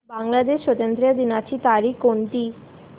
बांग्लादेश स्वातंत्र्य दिनाची तारीख कोणती